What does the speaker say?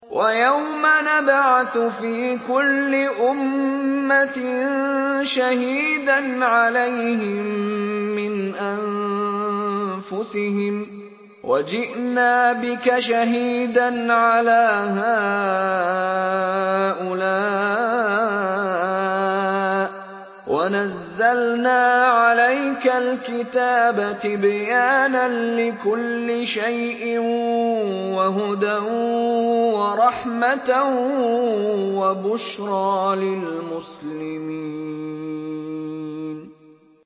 وَيَوْمَ نَبْعَثُ فِي كُلِّ أُمَّةٍ شَهِيدًا عَلَيْهِم مِّنْ أَنفُسِهِمْ ۖ وَجِئْنَا بِكَ شَهِيدًا عَلَىٰ هَٰؤُلَاءِ ۚ وَنَزَّلْنَا عَلَيْكَ الْكِتَابَ تِبْيَانًا لِّكُلِّ شَيْءٍ وَهُدًى وَرَحْمَةً وَبُشْرَىٰ لِلْمُسْلِمِينَ